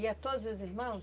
Ia todos os irmãos?